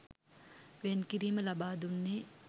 වෙන් කිරීම ලබා දුන්නේ